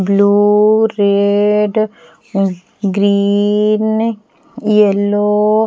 blue red green yellow --